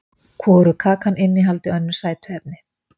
Hvorug kakan innihaldi önnur sætuefni.